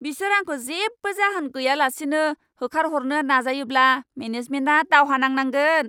बिसोर आंखौ जेबो जाहोन गैयालासेनो होखारहरनो नाजायोब्ला मेनेजमेन्टआ दावहा नांनांगोन।